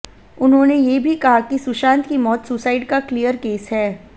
उन्होंने ये भी कहा कि सुशांत की मौत सुसाइड का क्लियर केस है